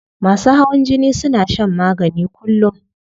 Masu hawan jini suna shan magani kullum